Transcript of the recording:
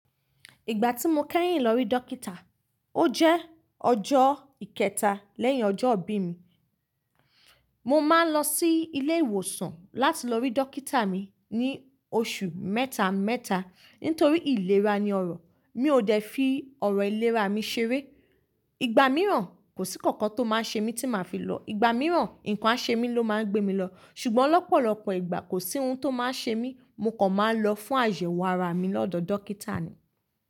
Ìgbà tí mo kẹ́yìn lọ rí dókítà, ó jẹ́ ọjọ́ ìkẹta lẹ́yìn ọjọ́ ìbí mi. Mo máa ń lọ sí ilé ìwòsàn láti lọ rí dókítà mi ní oṣù mẹ́ta mẹ́ta nítorí ìlera ni ọrọ̀. Mi ò dẹ̀ fi ọrọ̀ ìlera mi ṣeré. Ìgbà mìíràn kò sí kankan tó máa ṣe mí tí màá fi lọ. Ìgbà mìíràn ǹkan á ṣe mí ló máa ń gbé mi lọ. Ṣùgbọ́n ọ̀pọ̀lọpọ̀ ìgbà kò sí ohun tó máa ṣe mí, mo kàn máa ń lọ fún àyẹ̀wò ara mi lọ́dọ̀ dókítà ni.